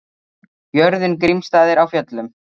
Jörðin Grímsstaðir á Fjöllum.